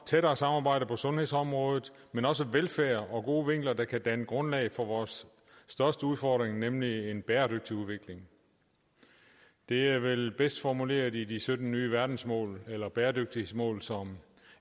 tættere samarbejde på sundhedsområdet men også velfærd og gode vinkler der kan danne grundlag for vores største udfordring nemlig en bæredygtig udvikling det er vel bedst formuleret i de sytten nye verdensmål eller bæredygtighedsmål som